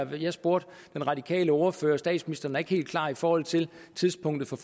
jeg spurgte den radikale ordfører og statsministeren er ikke helt klar i forhold til tidspunktet for